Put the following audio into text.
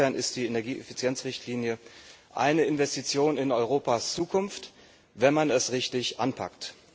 Insofern ist die Energieeffizienzrichtlinie eine Investition in Europas Zukunft, wenn man es richtig anpackt.